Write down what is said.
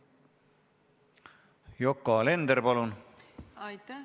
Yoko Alender, palun!